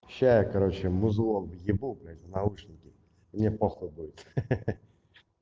сейчас я короче музыку въебу в наушники мне похуй будет хе-хе